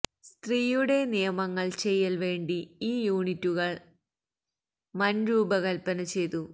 സ്ത്രീയുടെ നിയമങ്ങൾ ചെയ്യൽ വേണ്ടി ഈ യൂണിറ്റുകൾ മന് രൂപകൽപന ചെയ്തു